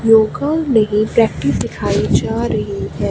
योगा में हीं प्रैक्टिस दिखाई जा रही है।